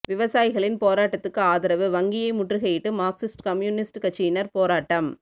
விவசாயிகளின் போராட்டத்துக்கு ஆதரவு வங்கியை முற்றுகையிட்டு மாா்க்சிஸ்ட் கம்யூனிஸ்ட் கட்சியினா் போராட்டம்